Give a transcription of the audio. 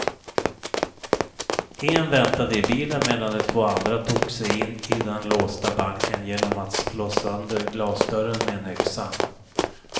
En väntade i bilen medan de två andra tog sig in i den låsta banken genom att slå sönder glasdörren med en yxa.